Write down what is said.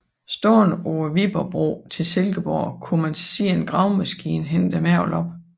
Stående på Viborgbroen i Silkeborg kunne man se en gravemaskine hente mergelen op